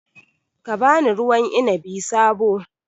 Ka ba ni ruwan inabi sabo